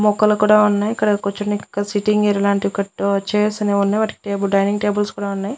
మొక్కలు కూడా ఉన్నాయ్ ఇక్కడ కూర్చోనికి ఒక సిట్టింగ్ ఏరియా లాంటి ఒకటి చైర్స్ అనేవున్నాయ్ వాటికి డైనింగ్ టేబుల్స్ కూడా ఉన్నాయ్.